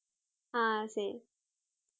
ஆஹ் சரி